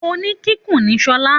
Òni kìkun ni Sola